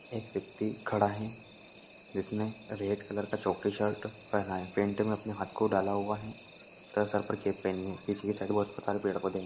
एक व्यक्ति खड़ा है जिसने रेड कलर का चौकड़ी शर्ट पेहना है पैंट में अपने हाथ को डाला हुआ है तथा सर पर कैप पेहनी है पीछे की साइड बहुत सारे पेड़-पौधे है।